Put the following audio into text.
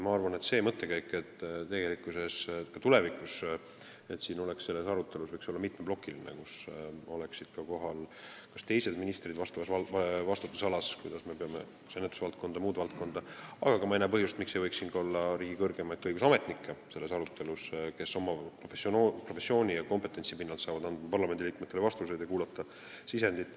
Siin oli mõttekäik, et tulevikus võiks see arutelu olla mitmeplokiline, et oleksid kohal ka teised vastava vastutusalaga ministrid, rääkimaks kas ennetusest või muust valdkonnast, aga ma ei näe põhjust, miks ei võiks selles arutelus osaleda ka riigi kõrgemad õigusametnikud, kes oma professiooni ja kompetentsi pinnalt saavad anda parlamendiliikmetele vastuseid ja kuulata sisendit.